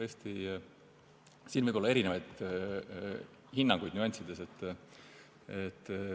Siin võib tõesti olla erinevaid hinnanguid nüanssides.